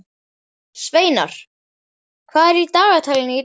Sveinar, hvað er á dagatalinu í dag?